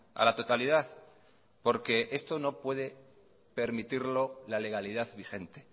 a la totalidad porque esto no puede permitirlo la legalidad vigente